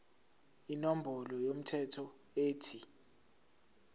inombolo yomthelo ethi